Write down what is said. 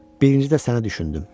Birincidə sənə düşündüm.